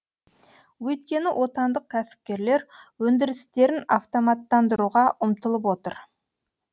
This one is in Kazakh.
өйткені отандық кәсіпкерлер өндірістерін автоматтандыруға ұмтылып отыр